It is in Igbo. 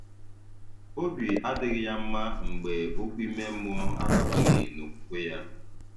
Obi adịghị ya mma mgbe okwu ime mmụọ adabaghi n'okwukwe ya